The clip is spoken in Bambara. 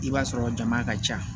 I b'a sɔrɔ jama ka ca